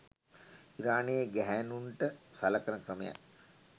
ඉරානයේ ගැහැනුන්ට සලකන ක්‍රමයත්